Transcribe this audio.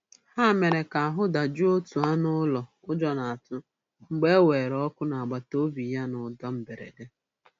Ha mere ka ahụ dajụọ otu anụ ụlọ ụjọ na-atụ mgbe e weere ọkụ n'agbataobi ya na ụda mberede.